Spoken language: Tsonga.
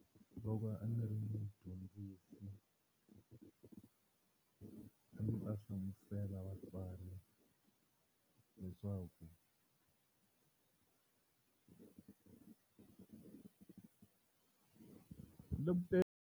Loko a ndzi ri dyondzisi a ndzi ta hlamusela vatswari leswaku .